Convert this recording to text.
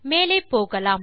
மேலே போகலாம்